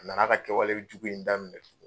A nan'a ka kɛwalejugu in daminɛ tugun.